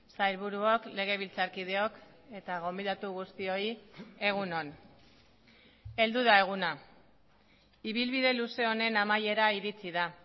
sailburuok legebiltzarkideok eta gonbidatu guztioi egun on heldu da eguna ibilbide luze honen amaiera iritsi da